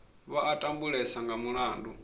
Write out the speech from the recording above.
vha a tambulesa nga mulandu